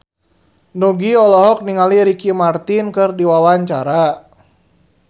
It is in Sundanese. Nugie olohok ningali Ricky Martin keur diwawancara